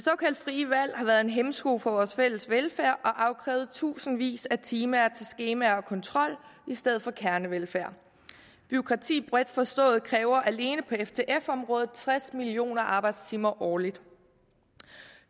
frie valg har været en hæmsko for vores fælles velfærd og afkrævet tusindvis af timer til skemaer og kontrol i stedet for kernevelfærd bureaukrati bredt forstået kræver alene på ftf området tres millioner arbejdstimer årligt